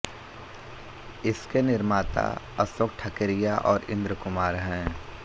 इसके निर्माता अशोक ठकेरिया और इन्द्र कुमार हैं